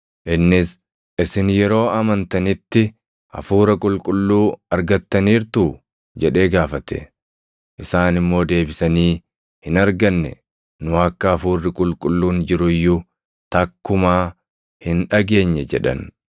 Innis, “Isin yeroo amantanitti Hafuura Qulqulluu argattaniirtuu?” jedhee gaafate. Isaan immoo deebisanii, “Hin arganne; nu akka Hafuurri Qulqulluun jiru iyyuu takkumaa hin dhageenye” jedhan.